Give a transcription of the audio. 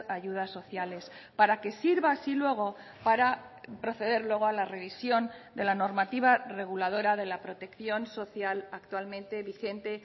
ayudas sociales para que sirva así luego para proceder luego a la revisión de la normativa reguladora de la protección social actualmente vigente